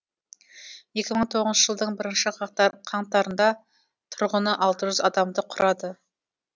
екі мың он тоғызыншы жылдың бірінші қаңтарында тұрғыны алты жүз адамды құрады